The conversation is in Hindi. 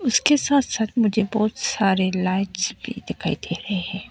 उसके साथ साथ मुझे बहुत सारे लाइट्स भी दिखाई दे रहे है।